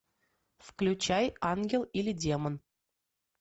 включай ангел или демон